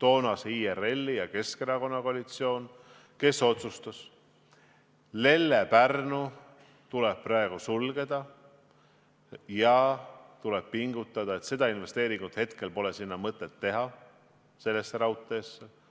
toonase IRL-i ja Keskerakonna koalitsioon, kes otsustas, et Lelle–Pärnu tuleb praegu sulgeda ja et investeeringut sellesse raudteesse pole mõtet hetkel teha.